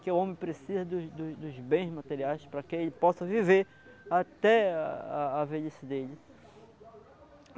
Que o homem precisa dos dos dos bens materiais para que ele possa viver até a a a velhice dele.